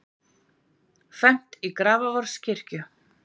Fermt í Grafarvogskirkju